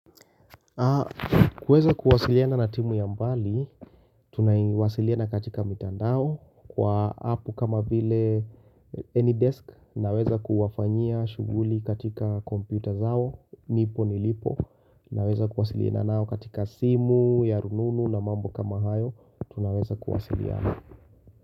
Kuweza kuwasiliana na timu ya mbali, tunaiwasiliana katika mitandao kwa apu kama vile Anydesk, naweza kuwafanyia shuguli katika computer zao, nipo nilipo, naweza kuwasiliana nao katika simu, ya rununu na mambo kama hayo, tunaweza kuwasiliana.